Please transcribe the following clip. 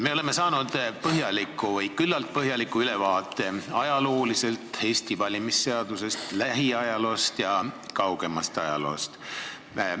Me oleme saanud küllalt põhjaliku ülevaate Eesti valimisseadusest lähiajaloos ja kaugemas ajaloos.